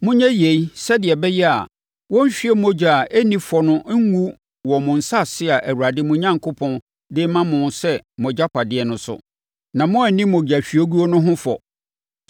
Monyɛ yei, sɛdeɛ ɛbɛyɛ a, wɔnhwie mogya a ɛnni fɔ no ngu wɔ mo asase a Awurade, mo Onyankopɔn, de rema mo sɛ mo agyapadeɛ no so, na moanni mogyahwieguo no ho fɔ.